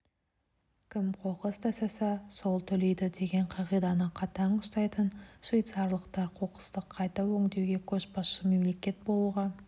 кім қоқыс тастаса сол төлейді деген қағиданы қатаң ұстайтын швейцарлықтар қоқысты қайта өңдеуде көшбасшы мемлекет болуға